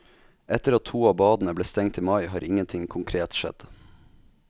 Etter at to av badene ble stengt i mai, har ingenting konkret skjedd.